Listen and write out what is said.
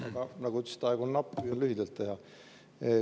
Aga kuna, nagu te ütlesite, aeg on napp, siis püüan lühidalt teha.